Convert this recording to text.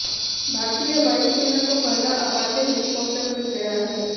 भारतीय वायुसेना को पहला अपाचे हेलिकॉप्टर मिल गया है